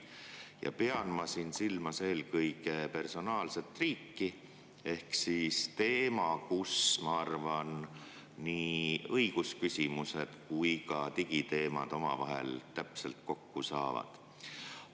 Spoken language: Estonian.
Ma pean silmas eelkõige personaalset riiki, ehk siis teemat, kus, ma arvan, nii õigusküsimused kui ka digiteemad omavahel täpselt kokku saavad.